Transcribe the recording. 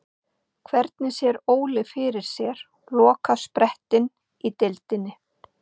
Hvernig sér Óli fyrir sér lokasprettinn í deildinni?